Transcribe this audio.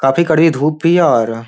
काफी कड़ी धुप भी और --